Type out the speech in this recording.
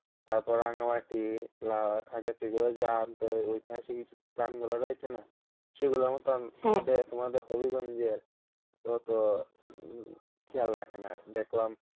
তারপর রাঙ্গামাটি খাগড়াছড়ি এগুলো যে ঐতিহাসিক স্থানগুলো রয়েছে না, সেগুলোর মতন তোমাদের তোমাদের হবিগঞ্জের অতো খেয়াল রাখেনা দেখলাম।